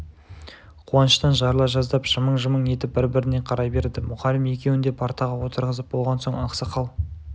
қуаныштан жарыла жаздап жымың-жымың етіп бір-біріне қарай береді мұғалім екеуін де партаға отырғызып болған соң ақсақал